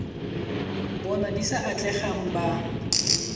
bona di sa atlegang ba